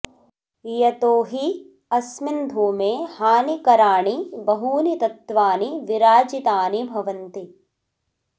यतो हि अस्मिन् धूमे हानिकरानि बहूनि तत्त्वानि विराजितानि भवन्ति